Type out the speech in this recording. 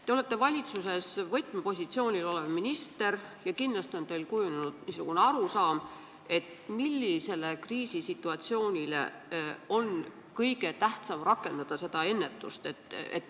Te olete valitsuses võtmepositsioonil olev minister ja kindlasti on teil kujunenud arusaam, millise kriisisituatsiooni puhul on kõige tähtsam ennetust rakendada.